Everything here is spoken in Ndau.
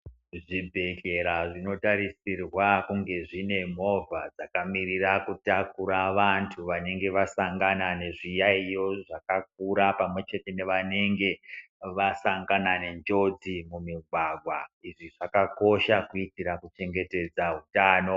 Zvibhedhlera zvinotarisirwa kunge zvine movha dzakamiririra kutakura vantu vanenge vasangana nezviyaiyo zvakakura pamwechete pamwechete nevanenge vasangana nenjodzi mumigwagwa. Izvi zvakakosha kuitira kuchengetedza utano.